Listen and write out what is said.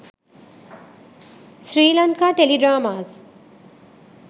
sri lanka teledramas